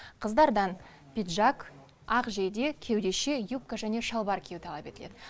қыздардан пиджак ақ жейде кеудеше юбка және шалбар кию талап етіледі